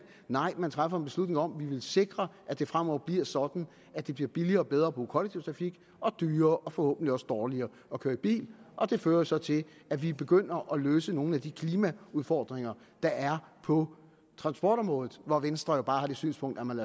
nej man træffer en beslutning om at man vil sikre at det fremover bliver sådan at det bliver billigere og bedre at bruge kollektiv trafik og dyrere og forhåbentlig også dårligere at køre i bil og det fører jo så til at vi begynder at løse nogle af de klimaudfordringer der er på transportområdet hvor venstre jo bare har det synspunkt at man